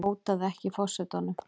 Hótaði ekki forsetanum